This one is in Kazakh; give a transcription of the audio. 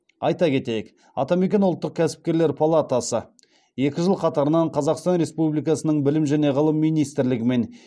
айта кетейік атамекен ұлттық кәсіпкерлер палатасы екі жыл қатарынан қазақстан республикасының білім және ғылым министрлігі мен